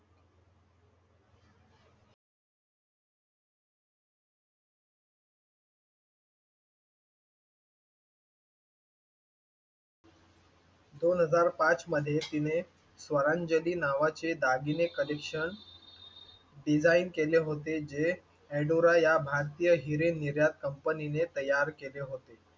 दोन हजार पाच मध्ये तिने स्वरांजली नावाचे दागिने कलेक्शन डिझाईन केले होते जे एडोरा या भारतीय हिरे निर्यात कंपनीने तयार केले होते.